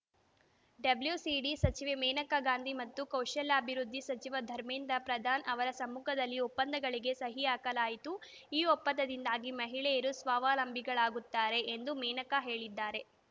WCD ಸಚಿವೆ ಮೇನಕಾ ಗಾಂಧಿ ಮತ್ತು ಕೌಶಲ್ಯಾಭಿವೃದ್ಧಿ ಸಚಿವ ಧರ್ಮೇಂದ್ರ ಪ್ರಧಾನ್ ಅವರ ಸಮ್ಮುಖದಲ್ಲಿ ಒಪ್ಪಂದಗಳಿಗೆ ಸಹಿ ಹಾಕಲಾಯಿತು ಈ ಒಪ್ಪಂದದಿಂದಾಗಿ ಮಹಿಳೆಯರು ಸ್ವಾವಲಂಬಿಗಳಾಗುತ್ತಾರೆ ಎಂದು ಮೇನಕಾ ಹೇಳಿದ್ದಾರೆ